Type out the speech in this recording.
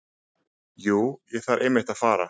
Jú, ég þarf einmitt að fara.